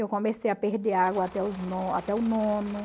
Eu comecei a perder água até os no até o nono.